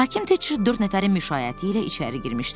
Hakim Teçer dörd nəfərin müşayiəti ilə içəri girmişdi.